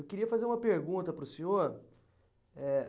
Eu queria fazer uma pergunta para o senhor. Eh